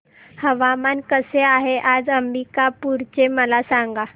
हवामान कसे आहे आज अंबिकापूर चे मला सांगा